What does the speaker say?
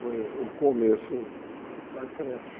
Foi o começo da creche.